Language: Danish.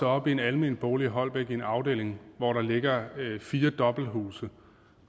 op i en almen bolig i holbæk i en afdeling hvor der ligger fire dobbelthuse